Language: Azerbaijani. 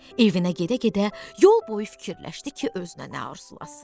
Evinə gedə-gedə yol boyu fikirləşdi ki, özünə nə arzulasın.